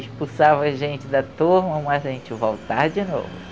expulsava a gente da turma, mas a gente voltava de novo.